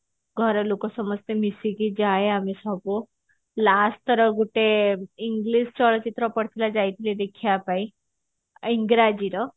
ଘରଲୋକ ସମସ୍ତେ ମିସିକି ଯାଏ ଆମେ ସବୁ last ଥର ଗୋଟେ english ଚଳଚିତ୍ର ପଡିଥିଲା ଯାଇଥିଲେ ଦେଖିବା ପାଇଁ ଇଂରାଜୀ ର